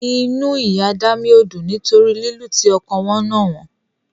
Inú Ìyá Dámì ò dùn nítorí lílu tí ọkọ wọn nà wọ́n.